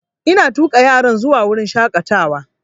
Ina tuƙa yaran zuwa wurin shaƙatawa